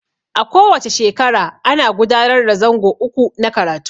A ko wace shekara ana gudanar da zango uku na karatu.